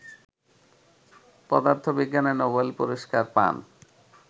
পদার্থবিজ্ঞানে নোবেল পুরস্কার পান